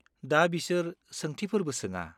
दा बिसोर सोंथिफोरबो सोङा।